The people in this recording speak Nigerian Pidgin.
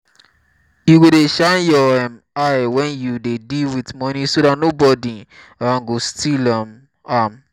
you go dey shine your um eye wen you dey deal with money so dat nobody um got steal um am